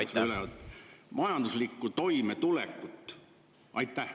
… seda, majanduslikku toimetulekut?